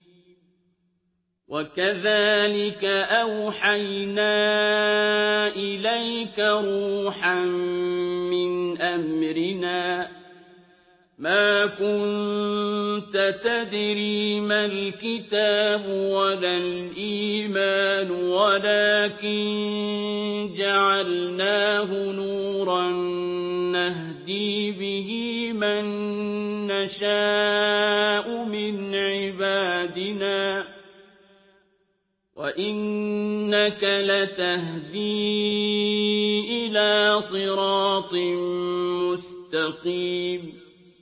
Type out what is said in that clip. وَكَذَٰلِكَ أَوْحَيْنَا إِلَيْكَ رُوحًا مِّنْ أَمْرِنَا ۚ مَا كُنتَ تَدْرِي مَا الْكِتَابُ وَلَا الْإِيمَانُ وَلَٰكِن جَعَلْنَاهُ نُورًا نَّهْدِي بِهِ مَن نَّشَاءُ مِنْ عِبَادِنَا ۚ وَإِنَّكَ لَتَهْدِي إِلَىٰ صِرَاطٍ مُّسْتَقِيمٍ